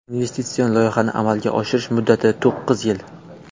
Investitsion loyihani amalga oshirish muddati to‘qqiz yil.